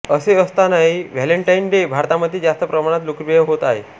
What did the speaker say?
असे असतानाही Valentine day भारतामध्ये जास्त प्रमाणात लोकप्रिय होत आहे